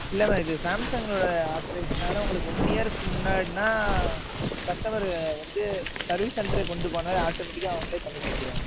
இல்லை, mam இது, Samsung ஓட, யாத்திரை உங்களுக்கு one year க்கு முன்னாடின்னா, customer வந்து, service center க்கு கொண்டு போனாவே, automatic ஆ அவங்களே பண்ணி தந்திருவாங்க.